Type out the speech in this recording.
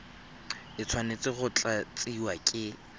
e tshwanetse go tlatsiwa ke